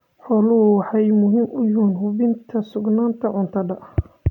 Xooluhu waxay muhiim u yihiin hubinta sugnaanta cuntada.